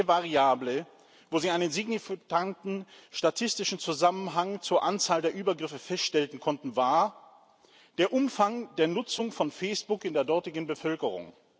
Die einzige Variable, wo sie einen signifikanten statistischen Zusammenhang zur Anzahl der Übergriffe feststellen konnten, war der Umfang der Nutzung von Facebook in der dortigen Bevölkerung.